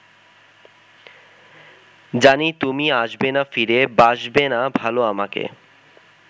জানি তুমি আসবেনা ফিরে বাসবেনা ভালো আমাকে